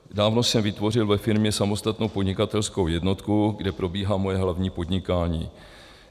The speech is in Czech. Dávno jsem vytvořil ve firmě samostatnou podnikatelskou jednotku, kde probíhá moje hlavní podnikání.